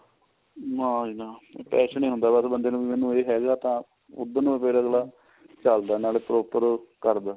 ਨਾ ਜੀ ਨਾ passion ਈ ਹੁੰਦਾ ਬੰਦੇ ਨੂੰ ਕੀ ਮੈਨੂੰ ਇਹ ਹੈਗਾ ਤਾਂ ਉਹਦੇ ਨਾਲ ਫੇਰ ਅਗਲਾ ਚੱਲਦਾ ਨਾਲੇ proper ਕਰਦਾ